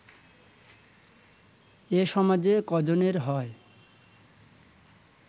এ সমাজে ক’জনের হয়